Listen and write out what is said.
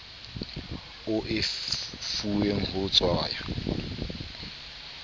o e fuweng ho tshwaya